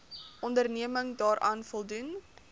onderneming daaraan voldoen